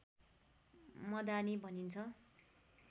मदानी भनिन्छ